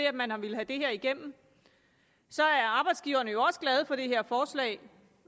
at man har villet have det her igennem så er arbejdsgiverne også glade for det her forslag